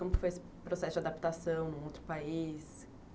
Como que foi esse processo de adaptação num outro país?